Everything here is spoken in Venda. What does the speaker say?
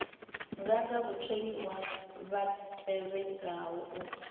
nganga vhatholiwa vha tevhelaho u